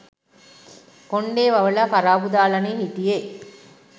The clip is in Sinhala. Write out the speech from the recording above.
කොණ්ඩේ වවලා කරාබු දාලනේ හිටියේ